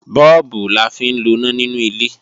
Bọ́ọ̀bù la fi ń loná nínú ilé